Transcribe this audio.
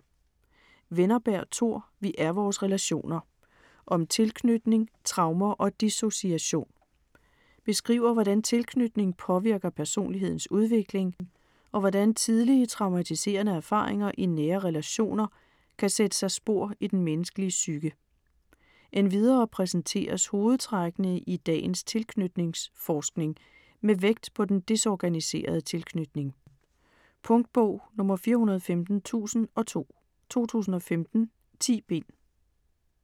Wennerberg, Tor: Vi er vores relationer: om tilknytning, traumer og dissociation Beskriver hvordan tilknytning påvirker personlighedens udvikling, og hvordan tidlig traumatiserende erfaringer i nære relationer kan sætte sig spor i den menneskelige psyke. Endvidere præsenteres hovedtrækkene i dagens tilknytningsforskning med vægt på den desorganiserede tilknytning. Punktbog 415002 2015. 10 bind.